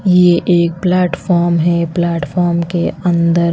ये एक प्लेटफार्म है प्लेटफार्म के अंदर--